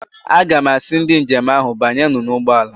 Aga m asị ndị njem ahụ, banyernụ n'ụgbọala!